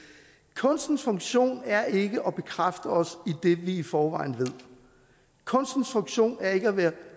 kunstens funktion er ikke at bekræfte os i det vi i forvejen kunstens funktion er ikke at være